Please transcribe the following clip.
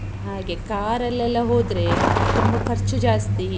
ಹಾಗೆ car ಅಲ್ಲೆಲ್ಲಾ ಹೋದ್ರೆ, ತುಂಬ ಖರ್ಚು ಜಾಸ್ತಿ.